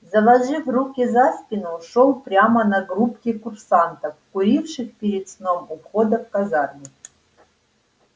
заложив руки за спину шёл прямо на группки курсантов куривших перед сном у входа в казарму